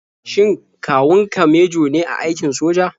Shin kawun ka mejo ne a aikin soja?